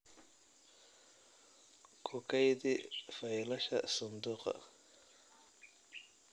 Ku kaydi faylashaada sanduuqa.